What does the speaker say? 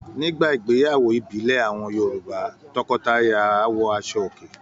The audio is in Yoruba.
Nígbà ìgbéyàwó ìbílẹ̀ àwọn Yorùbá. Tọkọtaya áwọ aṣọòkè.